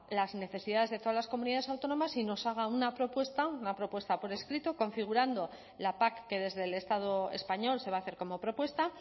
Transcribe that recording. las necesidades de todas las comunidades autónomas y nos haga una propuesta una propuesta por escrito configurando la pac que desde el estado español se va a hacer como propuesta